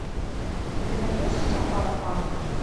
ты найдешь у себя паропанк